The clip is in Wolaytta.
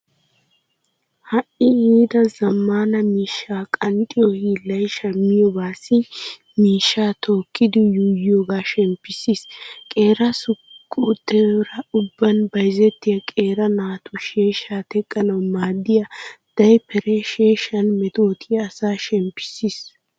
Ha"i yiida zammaana miishshaa qanxxiyo hiillay shammiyobaassi miishshaa tookkidi yuuyiyoogaa shemppissiis. Qeera suuqetuura ubban bayzettiya qeera naatu. Sheeshshaa teqqanawu maaddiya daypperee sheeshshan metootiya asaa shemppissiis.